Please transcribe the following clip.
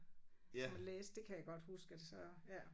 Når man læste det kan jeg godt huske at så ja